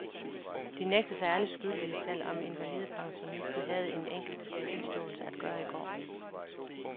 De nægter sig alle skyldige, selv om invalidepensionisten havde en enkelt tilståelse at gøre i går.